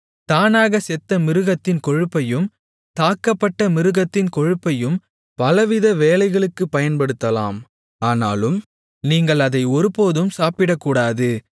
தானாகச் செத்த மிருகத்தின் கொழுப்பையும் தாக்கப்பட்ட மிருகத்தின் கொழுப்பையும் பலவித வேலைகளுக்குப் பயன்படுத்தலாம் ஆனாலும் நீங்கள் அதை ஒருபோதும் சாப்பிடக்கூடாது